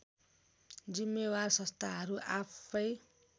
जिम्मेवार संस्थाहरू आफैँ